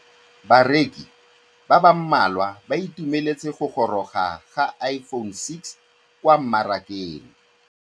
Bareki ba ba malwa ba ituemeletse go gôrôga ga Iphone6 kwa mmarakeng.